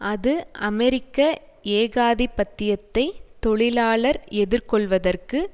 அது அமெரிக்க ஏகாதிபத்தியத்தை தொழிலாளர் எதிர்கொள்ளுவதற்கு